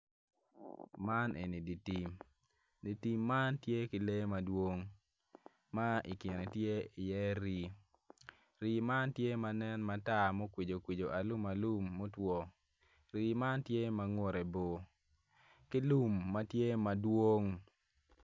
Man eni dye tim dye tim man tye ki lee madwong ma i kine tye iye rii rii man tye ma nen matar ma okwijokwijo alumalum mutwo rii man tye ma ngute bor ki lum ma tye madwong.